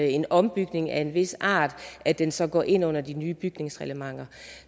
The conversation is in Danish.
en ombygning af en vis art at den så går ind under de nye bygningsreglementer